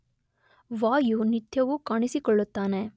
ವಾಯು ನಿತ್ಯವೂ ಕಾಣಿಸಿಕೊಳ್ಳುತ್ತಾನೆ.